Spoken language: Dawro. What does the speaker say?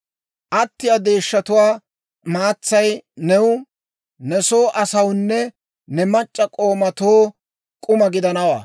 Attiyaa deeshshatuwaa maatsay new, ne soo asawunne ne mac'c'a k'oomatoo k'uma gidanawaa.